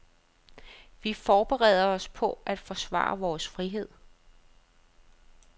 Vi forbereder os på at forsvare vores frihed.